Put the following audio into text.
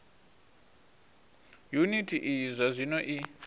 yuniti iyi zwa zwino i